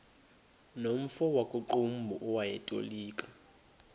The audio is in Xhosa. nomfo wakuqumbu owayetolika